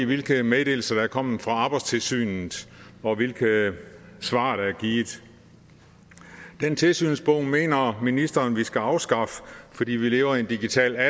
hvilke meddelelser der er kommet fra arbejdstilsynet og hvilke svar der er givet den tilsynsbog mener ministeren vi skal afskaffe fordi vi lever i en digital